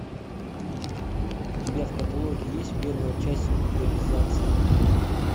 у тебя в каталоге есть первая часть импровизация